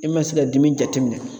I ma se ka dimi jateminɛ.